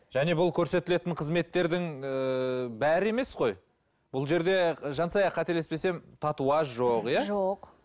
және бұл көрсетілетін қызметтердің ыыы бәрі емес қой бұл жерде жансая қателеспесем татуаж жоқ иә жоқ